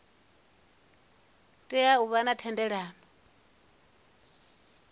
tea u vha na thendelo